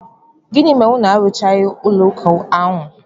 Gịnị mere unu arụchaghị ụlọụka ahụ?